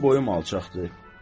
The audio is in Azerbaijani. Mənim boyum alçaqdır.